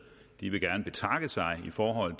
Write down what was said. de vil gerne betakke sig for en